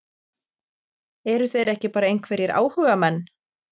Eru þeir ekki bara einhverjir áhugamenn?